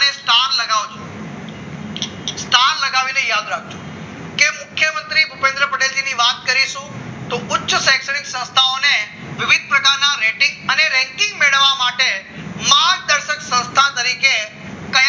યાદ રાખજો કે મુખ્યમંત્રી ભુપેન્દ્ર પટેલ જી ની વાત કરીશું તો ઉચ્ચ શૈક્ષણિક સંસ્થાઓને વિવિધ પ્રકારના રેટિંગ અને ranking મેળવવા માટે માર્ગદર્શક સંસ્થા તરીકે કઈ